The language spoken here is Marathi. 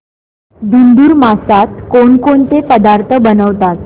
धुंधुर मासात कोणकोणते पदार्थ बनवतात